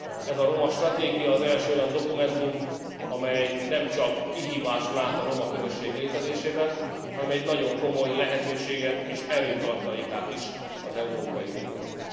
Ez a romastratégia az első olyan dokumentum, amely nemcsak kihívást lát a roma közösség létezésében, hanem egy nagyon komoly lehetőséget és erőtartalékát is az Európai Uniónak.